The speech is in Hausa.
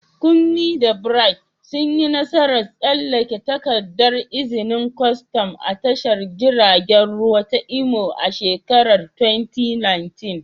Kunmi da Bright sun yi nasarar tsallake takardar izinin kwastam a tashar jiragen ruwa ta Imo a shekarar 2019.